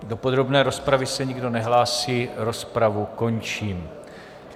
Do podrobné rozpravy se nikdo nehlásí, rozpravu končím.